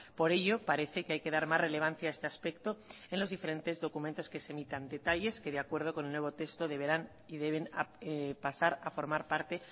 por ello parece que hay que dar más relevancia a este aspecto en los diferentes documentos que se emitan detalles que de acuerdo con el nuevo texto deberán y deben pasar a formar parte